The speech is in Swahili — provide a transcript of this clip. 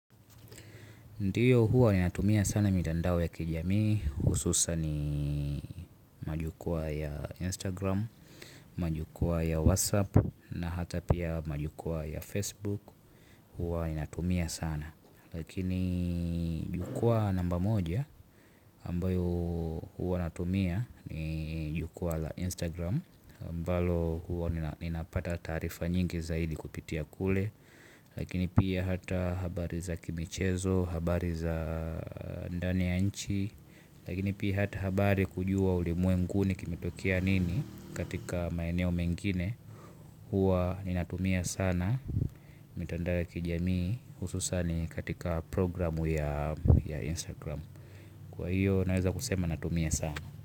Ndiyo, huwa natumia sana mitandao ya kijamii, hususan majukwaa ya Instagram, majukwaa ya WhatsApp na hata pia majukwaa ya Facebook. Huwa natumia sana. Lakini jukwaa namba moja ambayo huwa natumia ni jukwaa la Instagram. Ambalo huwa ninapata taarifa nyingi zaidi kupitia kule. Lakini pia hata habari za kimichezo, habari za ndani ya nchi. Lakini pia hata habari kujua ulimwenguni kimetokea nini katika maeneo mengine, huwa ninatumia sana. Mitandao ya kijamii, hususan katika programu ya Instagram. Kwa hiyo naweza kusema natumia sana.